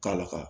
K'a laka